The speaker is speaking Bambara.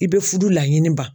I bɛ furu laɲini ban